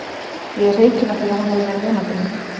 Ég er hreykinn af því að hún hefur verið nemandi minn.